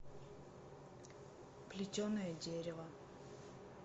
плетеное дерево